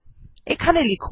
এটি টার্মিনাল এ করে দেখা যাক